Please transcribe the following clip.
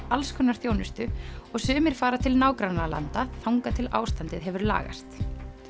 alls konar þjónustu og sumir fara til nágrannalanda þangað til ástandið hefur lagast